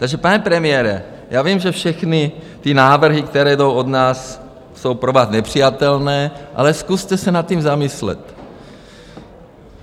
Takže pane premiére, já vím, že všechny ty návrhy, které jdou od nás, jsou pro vás nepřijatelné, ale zkuste se nad tím zamyslet.